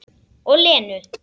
Og Lenu.